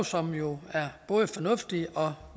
som jo er både fornuftigt og